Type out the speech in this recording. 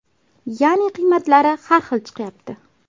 Ya’ni qiymatlari har xil chiqyapti.